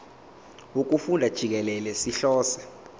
wokufunda jikelele sihlose